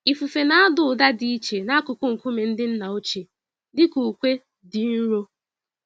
Ifufe nada ụda dị iche n'akụkụ nkume ndị nna ochie, dị ka ukwe dị nro.